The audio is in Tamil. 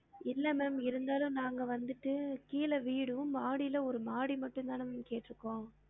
இல்ல ma'am இருந்தாலும் நாங்க வந்துட்டு கீழ வீடும் மாடில ஒரு மாடி மட்டும் தான் ma'am கேட்ருக்கோம்